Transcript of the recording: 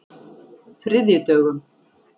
þriðjudögum